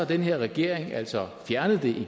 den her regering altså fjernet det